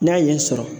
N'a ɲɛ sɔrɔ